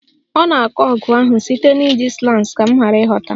Ọ na-akọ ọgụ ahụ site na iji slangs ka m ghara ịghọta